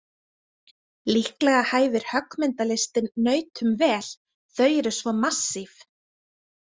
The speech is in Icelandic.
Líklega hæfir höggmyndalistin nautum vel, þau eru svo massíf.